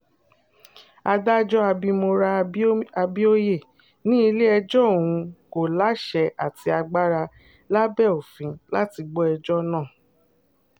adájọ́ abimora abioye ní ilé-ẹjọ́ òun kò láṣẹ àti agbára lábẹ́ òfin láti gbọ́ ẹjọ́ náà